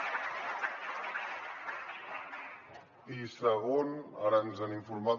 i segon ara ens han informat